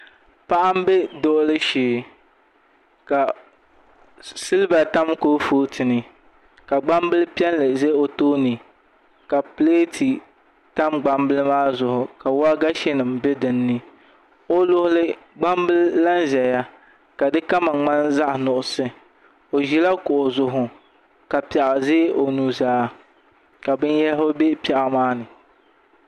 Paɣa m-be dulili shee ka siliba tam kurufootu ni ka gbambil’ piɛlli za o tooni ka pileeti tam gbambila maa zuɣu ka wagashi be di ni o luɣili gbambila lahi zaya ka di kama ŋmani zaɣ’ nuɣiso o ʒila kuɣu zuɣu ka piɛɣu za o nuzaa ka binyɛhiri be piɛɣu maa ni